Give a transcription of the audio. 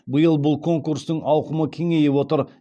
биыл бұл конкурстың ауқымы кеңейіп отыр